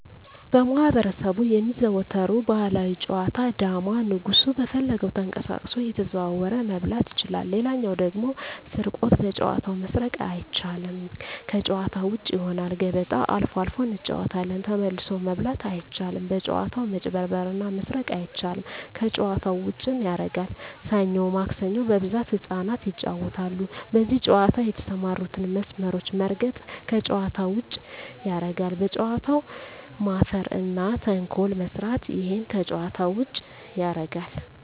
በማህበረሰቡ የሚዘወተሩ ባህላዊ ጨዋታ ዳማ ንጉሡ በፈለገው ተቀሳቅሶ እየተዘዋወረ መብላት ይችላል ሌላው ደግሞ ስርቆት በጨዋታው መስረቅ አይቻልም ከጭዋታ ውጭ ይሆናል ገበጣ አልፎ አልፎ እንጫወታለን ተመልሶ መብላት አይቻልም በጭዋታው መጭበርበር እና መስረቅ አይቻልም ከጨዋታው ዉጭም ያረጋል ሠኞ ማክሰኞ በብዛት ህጻናት ይጫወታሉ በዚህ ጨዋታ የተሠማሩትን መስመሮች መርገጥ ከጨዋታ ውጭ ያረጋል በጨዋታው መፈረ እና ተንኮል መስራት እሄም ከጨዋታ ውጭ ያረጋል